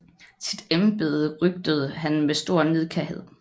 Sit embede røgtede han med stor nidkærhed